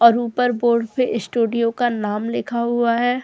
और ऊपर बोर्ड पे स्टूडियो का नाम लिखा हुआ है।